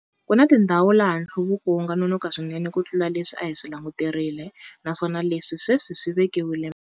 Ku na tindhawu laha nhluvuko wu nga nonoka swinene kutlula leswi a hi swi languterile, naswona leswi sweswi swi vekiwile mahlo.